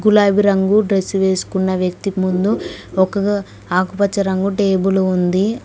గులాబీ రంగు డ్రెస్ వేసుకున్న వ్యక్తి ముందు ఒక ఆకుపచ్చ రంగు టేబులు ఉంది.